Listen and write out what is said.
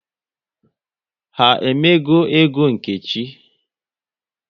Ha emego égo Nkechi?